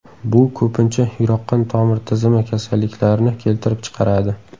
Bu ko‘pincha yurak-qon tomir tizimi kasalliklarini keltirib chiqaradi.